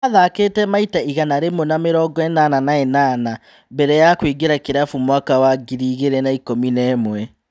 Athakĩte maita igana rĩmwe na mĩrongoĩnana na ĩnana mbere ya kũingĩra kĩrabu mwaka wa ngiri igĩrĩ na ikũmi na ĩmwe.